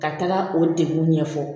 Ka taga o degun ɲɛfɔ